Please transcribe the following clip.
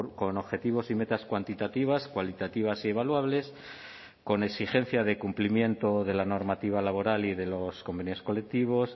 con objetivos y metas cuantitativas cualitativas y evaluables con exigencia de cumplimiento de la normativa laboral y de los convenios colectivos